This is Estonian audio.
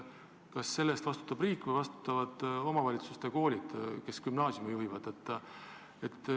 Kas selle eest vastutab riik või vastutavad omavalitsuste koolid?